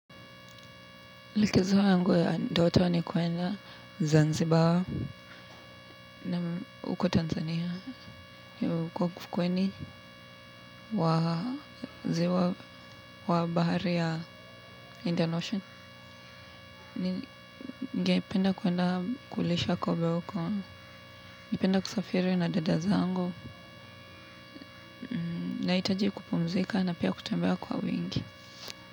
Likizo yangu ya ndoto ni kwenda zanzibar. Naam huko tanzania ni huko ufukweni wa zi wa bahari ya indian ocean. Ni ngependa kwenda kulisha kobe wahuko. Ningependa kusafiri na dadazangu. Nahitaji kupumzika na pia kutembea kwa wingi.